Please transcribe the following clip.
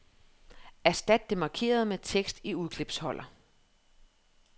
Erstat det markerede med tekst i udklipsholder.